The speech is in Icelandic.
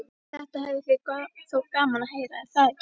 Þetta hefði þér þótt gaman að heyra, er það ekki?